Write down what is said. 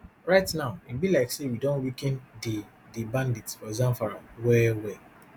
right now e be like say we don weaken di di bandits for zamfara well well